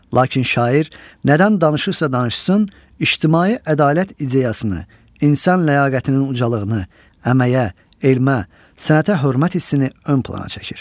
Lakin şair nədən danışırsa danışsın, ictimai ədalət ideyasını, insan ləyaqətinin ucalığını, əməyə, elmə, sənətə hörmət hissini ön plana çəkir.